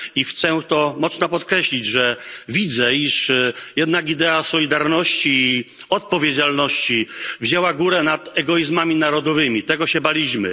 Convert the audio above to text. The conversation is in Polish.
I chcę mocno podkreślić, że widzę, iż jednak idea solidarności i odpowiedzialności wzięła górę nad egoizmami narodowymi, których się baliśmy.